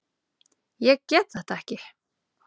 Ég get þetta ekki.